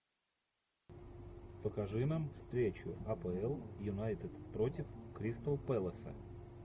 покажи нам встречу апл юнайтед против кристал пэласа